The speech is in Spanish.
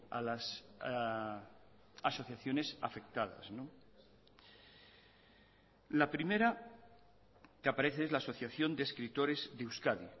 a las asociaciones afectadas la primera que aparece es la asociación de escritores de euskadi